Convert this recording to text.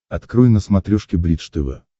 открой на смотрешке бридж тв